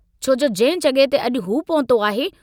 छो जो जंहिं जगहि ते अजु हू पहुतो आहे।